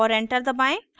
और enter दबाएं